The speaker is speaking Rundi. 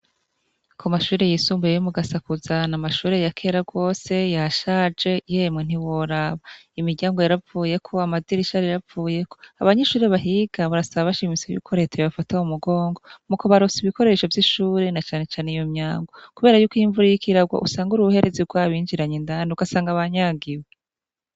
Ku mashuri yisumbuye yo mu Gasakuza, ni amashure ya kera rwose yashaje, yemwe ntiworaba. Imiryango yaravuyeko, amadirisha yaravuyeko, abanyeshure bahiga barasaba bashimitse yuko reta yobafata mu mugongo mu kubaronsa ibikoresho vy'ishure na cane cane iyo myango, kubera yuko iyo imvura iriko iragwa usanga uruhuherezi rwabinjiranye indani ugasanga banyagiwe.